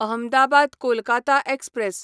Ahmedabad Kolkata express